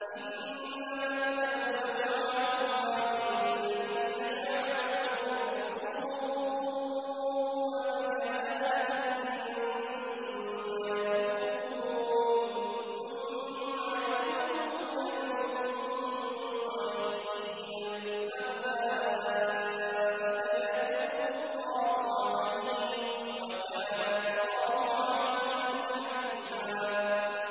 إِنَّمَا التَّوْبَةُ عَلَى اللَّهِ لِلَّذِينَ يَعْمَلُونَ السُّوءَ بِجَهَالَةٍ ثُمَّ يَتُوبُونَ مِن قَرِيبٍ فَأُولَٰئِكَ يَتُوبُ اللَّهُ عَلَيْهِمْ ۗ وَكَانَ اللَّهُ عَلِيمًا حَكِيمًا